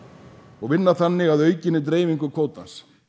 og vinna þannig að aukinni dreifingu kvóta